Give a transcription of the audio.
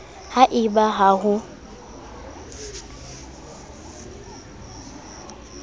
ha e ba ha ho